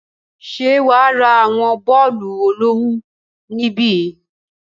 Ṣé wà á ra àwọn bọ́ọ̀lù olówùú níbí?